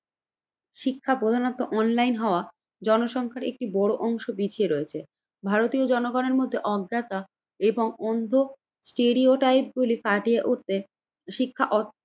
শিক্ষা প্রধানত অনলাইন হওয়া জনসংখ্যার একটি বড় অংশ বিছিয়ে রয়েছে। ভারতীয় জনগণের মধ্যে অজ্ঞতা এবং অন্ধ স্টেরিওটাইপ বলে শিক্ষা অ